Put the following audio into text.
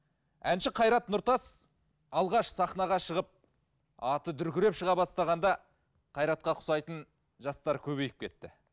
әнші қайрат нұртас алғаш сахнаға шығып аты дүркіреп шыға бастағанда қайратқа ұқсайтын жастар көбейіп кетті